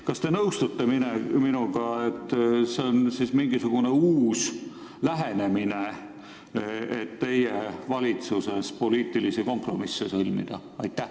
Kas te nõustute minuga, et see on uus lahendus, et teie valitsuses poliitilisi kompromisse teha?